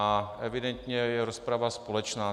A evidentně je rozprava společná.